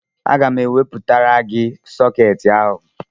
Aga m ewetara gị sọkeetị ahụ